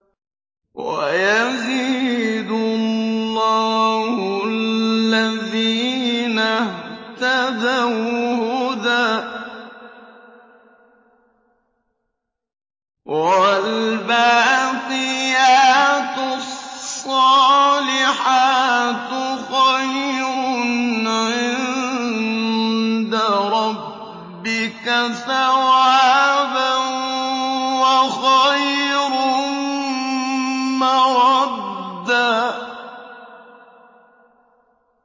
وَيَزِيدُ اللَّهُ الَّذِينَ اهْتَدَوْا هُدًى ۗ وَالْبَاقِيَاتُ الصَّالِحَاتُ خَيْرٌ عِندَ رَبِّكَ ثَوَابًا وَخَيْرٌ مَّرَدًّا